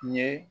Ɲe